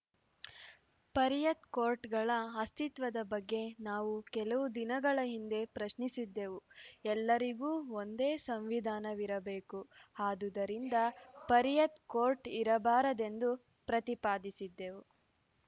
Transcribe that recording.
ಪರಿಯತ್‌ ಕೋರ್ಟ್‌ಗಳ ಅಸ್ತಿತ್ವದ ಬಗ್ಗೆ ನಾವು ಕೆಲವು ದಿನಗಳ ಹಿಂದೆ ಪ್ರಶ್ನಿಸಿದ್ದೆವು ಎಲ್ಲರಿಗೂ ಒಂದೇ ಸಂವಿಧಾನವಿರಬೇಕು ಆದುದರಿಂದ ಪರಿಯತ್‌ ಕೋರ್ಟ್‌ ಇರಬಾರದೆಂದು ಪ್ರತಿಪಾದಿಸಿದ್ದೆವು